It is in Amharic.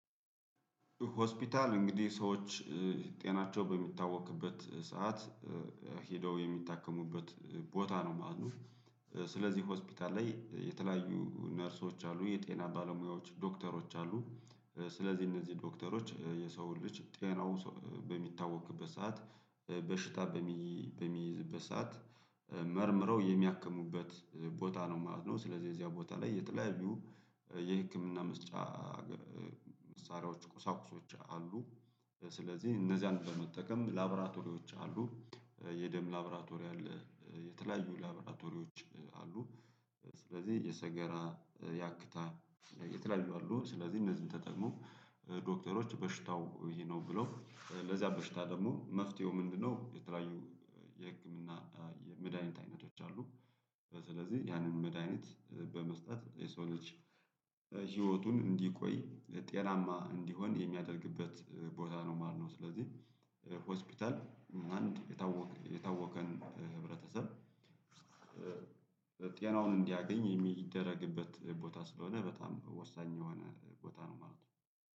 ሆስፒታል እንግዲህ ሰዎች ጤናቸው በሚታወክበት ሰዓት ሄደው የሚታከሙበት ቦታ ነው ማለት ነው። ስለዚህ ሆስፒታል ላይ የተለያዩ ነርሶች አሉ የጤና ባለሙያዎች ዶክተሮች አሉ። ስለዚህ እነዚህ ዶክተሮች የሰውን ልጅ ጤናው በሚታወክበት ሰዓት በሽታ በሚይዝበት ሰዓት መርምረው የሚያክሙበት ቦታ ነው ማለት ነው። ስለዚህ እዚያ ቦታ ላይ የተለያዩ የህክምና መስጫ መሳሪያዎች ቁሳቁሶች አሉ። ስለዚህ እነዚያን በመጠቀም ላብራቶሪዎች አሉ የደም ላብራቶሪያል የተለያዩ ላብራቶሪዎች አሉ። ስለዚህ የሰገራ ያክታ የተለያዩ አሉ ስለዚህ እነዚህን ተጠቅሞ ዶክተሮች በሽታው ይህ ነው ብለው ለዛ በሽታ ደግሞ መፍትሄው ምንድነው? የተለያዩ የህክምና የመድሃኒት አይነቶች አሉ። ስለዚህ ያንን መድሃኒት በመስጠት የሰው ልጅ ህይወቱን እንዲቆይ ጤናማ እንዲሆን የሚያደርግበት ቦታ ነው ማለት ነው። ስለዚህ ሆስፒታል አንድ የታወቀ የታወቀን ህብረተሰብ ጤናውን እንዲያገኝ የሚደረግበት ቦታ ስለሆነ በጣም ወሳኝ የሆነ ቦታ ነው ማለት ነው።